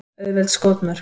Auðveld skotmörk.